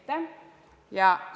Aitäh!